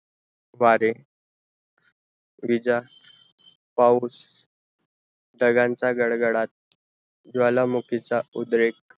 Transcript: वारे, बीजा, पाऊस, ढगांचा गडगडा ज्वालामुखी चा उद्रेख